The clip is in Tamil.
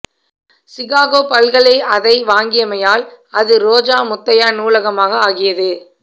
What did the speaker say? சிகாகோ பல்கலை அதை வாங்கியமையால் அது ரோஜா முத்தையா நூலகமாக ஆகியது